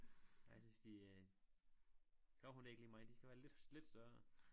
Jeg synes de øh gravhund det ikke lige mig de skal være lidt lidt større